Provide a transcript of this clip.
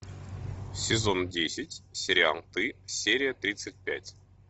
сезон десять сериал ты серия тридцать пять